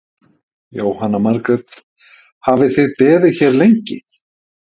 Jóhanna Margrét: Hafið þið beðið hér lengi?